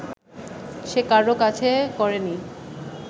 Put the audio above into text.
সে কারো কাছে করেনি